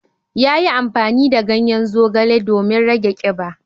Yayi amfani da ganyen zogale domin rage kiba.